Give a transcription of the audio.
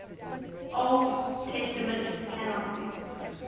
old testament canon